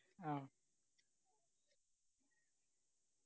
ആ